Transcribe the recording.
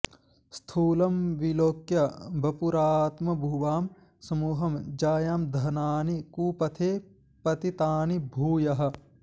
स्थूलं विलोक्य वपुरात्मभुवां समूहं जायां धनानि कुपथे पतितानि भूयः